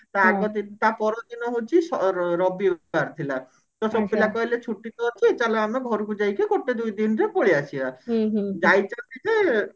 ତା ଆଗଦିନ ତା ପରଦିନ ହଉଛି ସ ରବିବାର ଥିଲା ତ ସବୁ ପିଲା କହିଲେ ଛୁଟି ତ ଅଛି ଚାଲ ଆମେ ଘରକୁ ଯାଇକି ଗୋଟେ ଦିଦିନରେ ପଳେଇ ଆସିବା ଯାଇଛନ୍ତି ଯେ